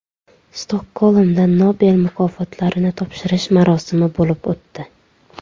Stokgolmda Nobel mukofotlarini topshirish marosimi bo‘lib o‘tdi.